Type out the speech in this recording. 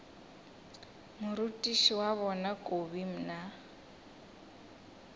morutiši wa bona kobi mna